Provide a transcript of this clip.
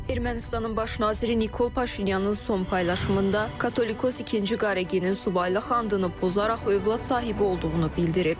Ermənistanın baş naziri Nikol Paşinyanın son paylaşımında Katolikos İkinci Qareginin subaylıq andını pozaraq övlad sahibi olduğunu bildirib